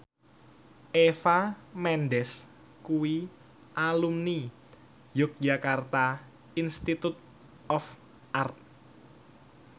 Eva Mendes kuwi alumni Yogyakarta Institute of Art